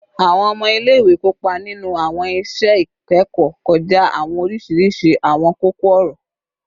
Awọn ọmọ ile-iwe kopa ninu awọn iṣẹ ikẹkọ kọja awọn oriṣiriṣi awọn koko-ọrọ